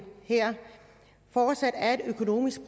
fortsat økonomisk